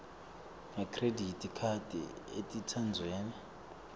ngekhredithi khadi etindzaweni